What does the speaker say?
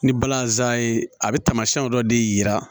Ni balazan ye a bɛ taamasiyɛnw dɔ de yira